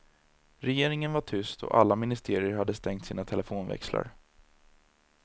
Regeringen var tyst och alla ministerier hade stängt sina telefonväxlar.